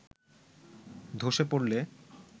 ধসে পড়লে